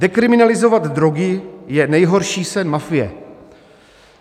Dekriminalizovat drogy je nejhorší sen mafie."